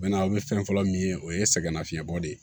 Bɛnna aw bɛ fɛn fɔlɔ min ye o ye sɛgɛnnafiɲɛbɔ de ye